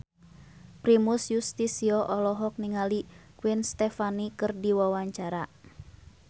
Primus Yustisio olohok ningali Gwen Stefani keur diwawancara